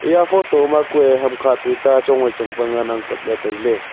eya photo ma kue hamkha tuita chong wai chong pa ngan kapley tailey.